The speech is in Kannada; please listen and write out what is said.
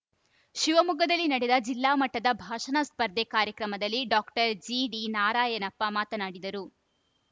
ಶಿವಮೊಗ್ಗದಲ್ಲಿ ನಡೆದ ಜಿಲ್ಲಾ ಮಟ್ಟದ ಭಾಷಣ ಸ್ಪರ್ಧೆ ಕಾರ್ಯಕ್ರಮದಲ್ಲಿ ಡಾಕ್ಟರ್ ಜಿಡಿ ನಾರಯಣಪ್ಪ ಮಾತನಾಡಿದರು